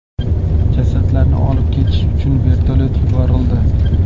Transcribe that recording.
Jasadlarni olib ketish uchun vertolyot yuborildi.